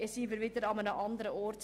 Das wäre wieder etwas anderes.